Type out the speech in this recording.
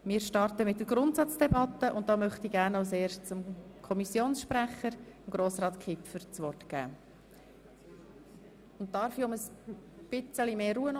Wir starten mit der Grundsatzdebatte und da möchte ich gerne als erstes dem Kommissionssprecher, Grossrat Kipfer, das Wort geben.